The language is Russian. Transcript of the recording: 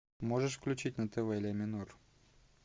можешь включить на тв ля минор